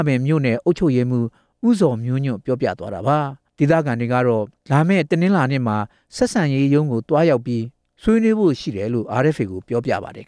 ပင် မြို့နယ်အုပ်ချုပ်ရေးမှူး ဦးဇော်မျိုးညွန့်က ပြောပါတယ်။ ဒေသခံတွေကတော့ ဒီကိစ္စကို တနင်္လာနေ့မှာ ဆက်ဆံရေးရုံးမှာ ဆွေးနွေးရှင်းလင်းဖို့ရှိတယ်လို့ RFA ကိုပြောပါတယ်။